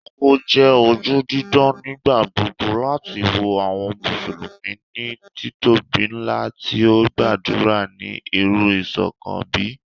O jẹ oju didan nigbagbogbo lati wo awọn Musulumi ni titobi nla ti o gbadura ni iru iṣọkan bẹ